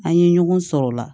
An ye ɲɔgɔn sɔrɔ o la